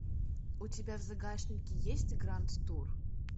у тебя в загашнике есть гранд тур